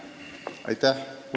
Aitäh!